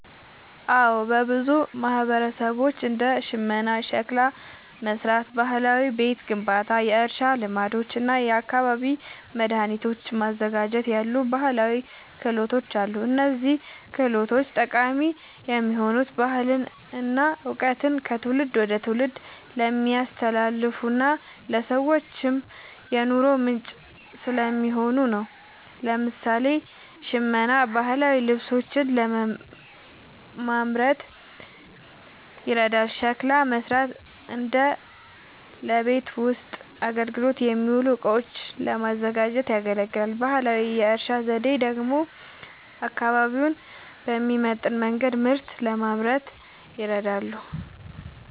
አዎ፣ በብዙ ማህበረሰቦች እንደ ሽመና፣ ሸክላ መሥራት፣ ባህላዊ ቤት ግንባታ፣ የእርሻ ልማዶች እና የአካባቢ መድኃኒቶችን ማዘጋጀት ያሉ ባህላዊ ክህሎቶች አሉ። እነዚህ ችሎታዎች ጠቃሚ የሆኑት ባህልን እና እውቀትን ከትውልድ ወደ ትውልድ ስለሚያስተላልፉና ለሰዎችም የኑሮ ምንጭ ስለሚሆኑ ነው። ለምሳሌ፣ ሽመና ባህላዊ ልብሶችን ለማምረት ይረዳል፤ ሸክላ መሥራት ደግሞ ለቤት ውስጥ አገልግሎት የሚውሉ እቃዎችን ለማዘጋጀት ያገለግላል። ባህላዊ የእርሻ ዘዴዎች ደግሞ አካባቢውን በሚመጥን መንገድ ምርት ለማምረት ይረዳሉ።